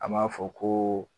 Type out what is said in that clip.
An m'a fɔ ko